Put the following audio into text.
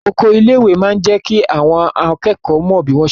Oko ilé ìwé máa n jẹ kí àwọn akẹ́kọ̀ọ́ mọ bi wọn ṣe n r'oko.